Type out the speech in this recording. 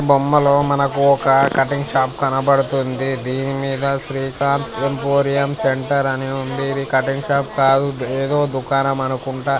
బొమ్మలో మనకు ఒక్క కటింగ్ షాప్ కనబడుతుంది. దీని మీద శ్రీకాంత్ ఎంపోరియం సెంటర్ అని రాసి ఉంది. ఇది కటింగ్ షాప్ కాదు ఏదో దుకాణం అనుకుంట.